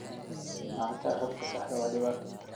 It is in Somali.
La'aanta xogta saxda ah waa dhibaato.